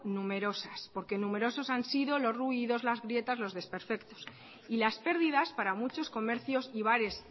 numerosas porque numerosos han sido los ruidos las grietas los desperfectos y las pérdidas para muchos comercios y bares